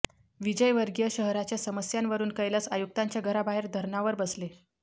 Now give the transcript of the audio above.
विजयवर्गीय शहराच्या समस्यांवरून कैलास आयुक्तांच्या घराबाहेर धरणावर बसले